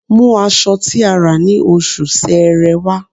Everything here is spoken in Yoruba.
Mú aṣọ tí a rà ní Oṣù Sẹẹrẹ wá